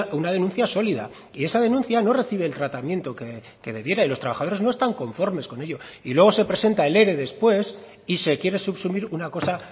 una denuncia sólida y esa denuncia no recibe el tratamiento que debiera y los trabajadores no están conforme con ello y luego se presenta el ere después y se quiere subsumir una cosa